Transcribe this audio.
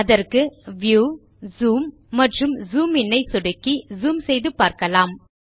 அதற்கு view zoom மற்றும் zoom in ஐ சொடுக்கி ஜூம் செய்து பார்க்கலாம்